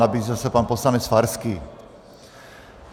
Nabízel se pan poslanec Farský.